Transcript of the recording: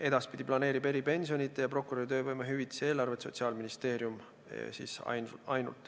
Edaspidi planeerib eripensionide ja prokuröri töövõimehüvitise eelarvet ainult Sotsiaalministeerium.